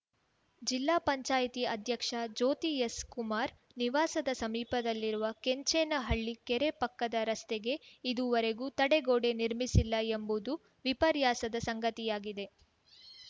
ಜಿಲ್ಲಾ ಪಂಚಾಯಿತಿ ಅಧ್ಯಕ್ಷೆ ಜ್ಯೋತಿ ಎಸ್‌ ಕುಮಾರ್‌ ನಿವಾಸದ ಸಮೀಪದಲ್ಲಿರುವ ಕೆಂಚೇನಹಳ್ಳಿ ಕೆರೆ ಪಕ್ಕದ ರಸ್ತೆಗೆ ಇದುವರೆಗೂ ತಡೆಗೋಡೆ ನಿರ್ಮಿಸಿಲ್ಲ ಎಂಬುದು ವಿಪರ್ಯಾಸದ ಸಂಗತಿಯಾಗಿದೆ